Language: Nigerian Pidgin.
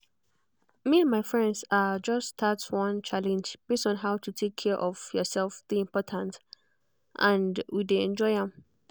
me and my friends ah just start one challenge base on how to take care of yourself take dey important and we dey enjoy am